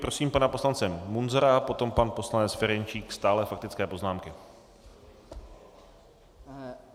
Prosím pana poslance Munzara a potom pan poslanec Ferjenčík - stále faktické poznámky.